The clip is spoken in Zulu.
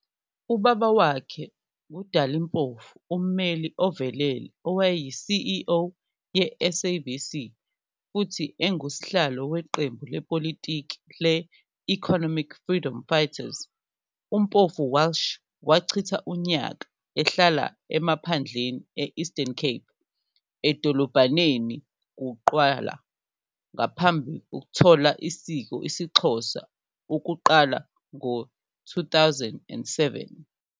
Ubaba wakhe nguDali Mpofu ummeli ovelele, owayeyi-CEO ye- SABC futhi engusihlalo weqembu lepolitiki le-Economic Freedom Fighters. UMpofu-Walsh wachitha unyaka abahlala yasemaphandleni e-Eastern Cape edolobhaneni Qugqwala, ngaphambi othola isiko IsiXhosa Ukuqalwa ngo-2007 .